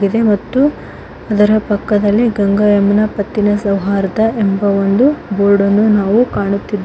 ಮತ್ತು ಅದರ ಪಕ್ಕದಲ್ಲಿ ಗಂಗಾ ಯಮುನಾ ಪತ್ತಿನ ಸೌಹಾರ್ದ ಎಂಬ ಒಂದು ಬೋರ್ಡ ನ್ನು ನಾವು ಕಾಣುತ್ತಿದ್ದೇ--